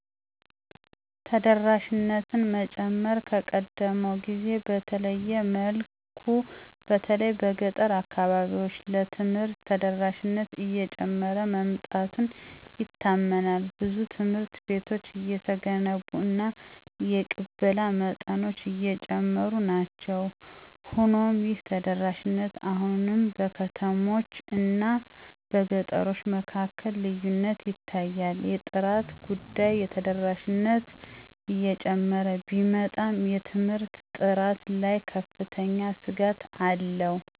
ተደራሽነትን መጨመር ከቀደመው ጊዜ በተለየመልኩ በተለይ በገጠር አካባቢዎች ለትምህርት ተደራሽነት እየጨመረ መምጣቱ ይታመናል ብዙ ትምሀርት ቤቶች እየተገነቡ እና የቅበላ መጠኖች አጨሙሩናቸዉ። ሆኖሞይህተደራሽነት አሁንም በከተሞች አናበገጠሮቸ መካከልልዪነት ይታያል። የጥራት ጉዳይ ተደራሽነት እጨመረ ቢመጣም የትምርት ጥራት ላይ ከፍተኛ ስጋትአለዉ የምህራን